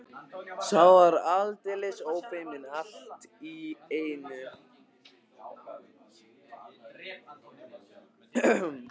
Sá var aldeilis ófeiminn allt í einu!